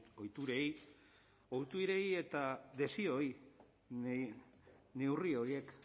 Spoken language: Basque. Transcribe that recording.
ohiturei ohiturei eta desioi neurri horiek